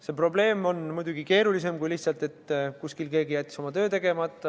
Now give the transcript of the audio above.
See probleem on muidugi keerulisem kui lihtsalt, et kuskil keegi jättis oma töö tegemata.